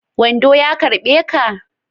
Wando ya karɓe ka?